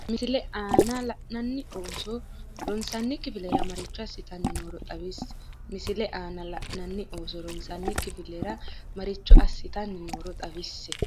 Misile aana la’inanni ooso ronsanni kifilera maricho assitanni nooro xawisse Misile aana la’inanni ooso ronsanni kifilera maricho assitanni nooro xawisse.